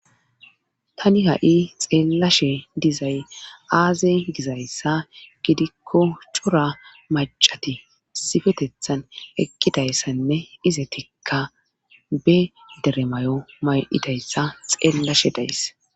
tani ha7i xeellashe dizay aaze gizayssa gidikko cora macati sifetethan ekkidayssanne ize tikka be deremayo may7idayssa xeellashe days